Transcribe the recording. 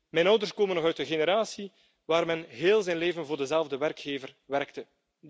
Mijn ouders komen zijn nog van de generatie waarin men heel zijn leven voor dezelfde werkgever werkte.